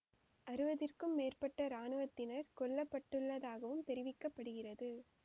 அறுபதிற்கும் மேற்பட்ட இராணுவத்தினர் கொல்ல பட்டுள்ளதாகவும் தெரிவிக்க படுகிறது